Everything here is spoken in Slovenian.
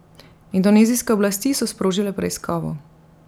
Indonezijske oblasti so sprožile preiskavo.